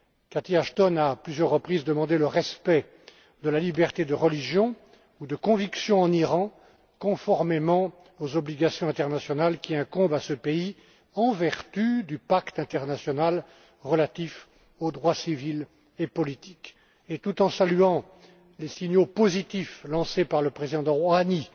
Catherine Ashton a, à plusieurs reprises, demandé le respect de la liberté de religion ou de conviction en Iran, conformément aux obligations internationales qui incombent à ce pays en vertu du pacte international relatif aux droits civils et politiques. Tout en saluant les signaux positifs lancés par le président Rohani,